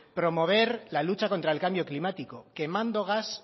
promover la lucha contra el cambio climático quemando gas